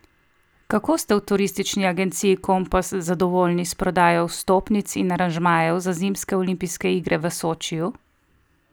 Kako ste v turistični agenciji Kompas zadovoljni s prodajo vstopnic in aranžmajev za zimske olimpijske igre v Sočiju?